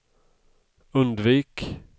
undvik